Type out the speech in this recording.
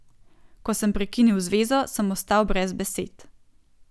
Ko sem prekinil zvezo, sem ostal brez besed.